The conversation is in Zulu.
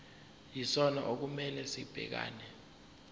yisona okumele sibhekane